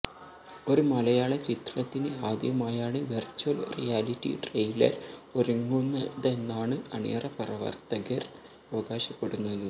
ഒരു മലയാള ചിത്രത്തിന് ആദ്യമായാണ് വെര്ച്വല് റിയാലിറ്റി ട്രെയിലര് ഒരുങ്ങുന്നതെന്നാണ് അണിയറ പ്രവര്ത്തകര് അവകാശപ്പെടുന്നത്